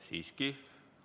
Siiski ...